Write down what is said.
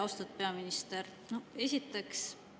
Austatud peaminister!